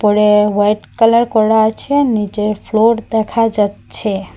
উপরে white colour করা আছে নীচের ফ্লোর দেখা যাচ্ছে।